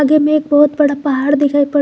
आगे में एक बहुत बड़ा पहाड़ दिखाई पड़--